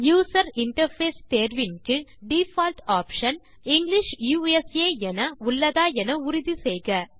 user interface தேர்வின் கீழ் default option English USA என உள்ளதா என்று உறுதி செய்க